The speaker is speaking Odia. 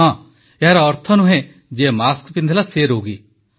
ହଁ ଏହାର ଅର୍ଥ ନୁହେଁ ଯିଏ ମାସ୍କ ପିନ୍ଧିଲା ସିଏ ରୋଗୀ